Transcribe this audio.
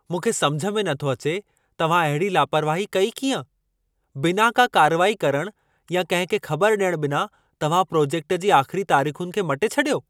मूंखे समिझ में नथो अचे तव्हां अहिड़ी लापरवाही कई कीअं? बिना का कार्रवाई करण या कंहिं खे ख़बर ॾियण बिना तव्हां प्रोजेक्ट जी आख़िरी तारीख़ुनि खे मटे छडि॒यो।